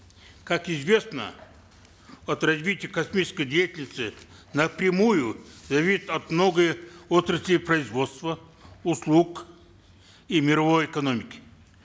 как известно от развития космической деятельности напрямую зависят многие отрасли производства услуг и мировой экономики